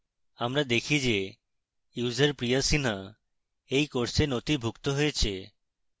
আমরা দেখি যে user priya sinha we course নথিভুক্ত হয়েছে